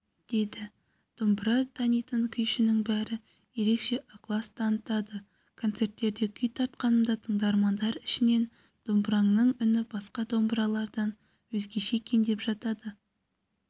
деді домбыра танитын күйшінің бәрі ерекше ықылас танытады концерттерде күй тартқанымда тыңдармандар ішінен домбыраңның үні басқа домбыралардан өзгеше екен деп жатады